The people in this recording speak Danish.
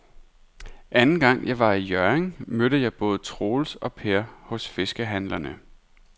Anden gang jeg var i Hjørring, mødte jeg både Troels og Per hos fiskehandlerne.